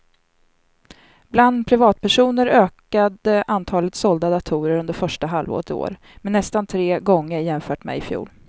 Bland privatpersoner ökade antalet sålda datorer under första halvåret i år med nästan tre gånger jämfört med i fjol.